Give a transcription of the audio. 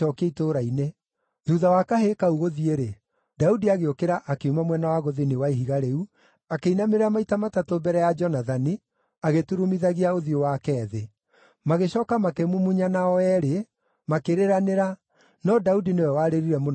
Thuutha wa kahĩĩ kau gũthiĩ-rĩ, Daudi agĩũkĩra akiuma mwena wa gũthini wa ihiga rĩu, akĩinamĩrĩra maita matatũ mbere ya Jonathani, agĩturumithagia ũthiũ wake thĩ. Magĩcooka makĩmumunyana o eerĩ, makĩrĩranĩra, no Daudi nĩwe warĩrire mũno makĩria.